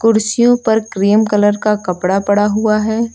कुर्सियों पर cream colour का कपड़ा पड़ा हुआ है।